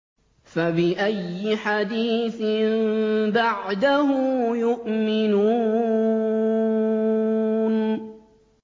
فَبِأَيِّ حَدِيثٍ بَعْدَهُ يُؤْمِنُونَ